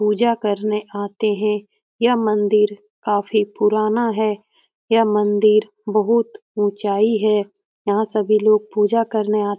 पूजा करने आते है यह मंदिर काफी पुराना है यह मंदिर बहुत ऊंचाई है यह सभी लोग पूजा करने आ --